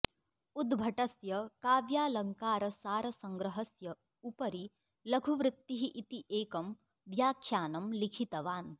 उद्भटस्य काव्यालङ्कारसारसंग्रहस्य उपरि लघुवृत्तिः इति एकम् व्याख्यानं लिखितवान्